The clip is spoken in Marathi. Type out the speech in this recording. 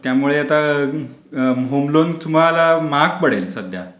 त्यामुळेआता होम लोन तुम्हाला महागच पडेल सध्या.